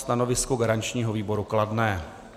Stanovisko garančního výboru kladné.